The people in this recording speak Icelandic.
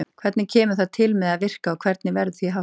Hvernig kemur það til með að virka og hvernig verður því háttað?